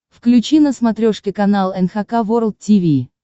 включи на смотрешке канал эн эйч кей волд ти ви